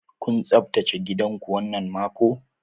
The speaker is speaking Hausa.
Kun tsaftace gidan ku wannan mako?